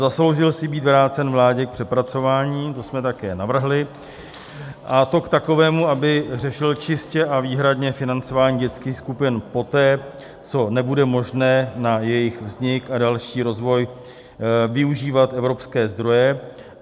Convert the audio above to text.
Zasloužil si být vrácen vládě k přepracování, to jsme také navrhli, a to k takovému, aby řešil čistě a výhradně financování dětských skupin poté, co nebude možné na jejich vznik a další rozvoj využívat evropské zdroje.